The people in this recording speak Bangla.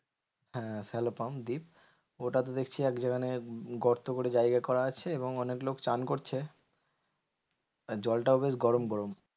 হ্যাঁ cello pump ডিপ, ওটাতে দেখছি এক যেখানে গর্ত করে জায়গা করা আছে এবং অনেক লোক চান করছে। আর জলটাও বেশ গরম গরম।